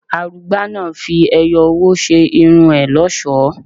Arugba náà fi ẹyọ owó ṣe irun ẹ lọ́ṣọ̀ọ́.